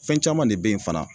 Fɛn caman de be ye fana